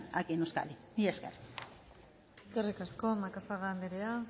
aquí en euskadi mila esker eskerrik asko macazaga andrea